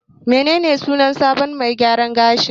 Menene sunan sabon mai gyaran gashin?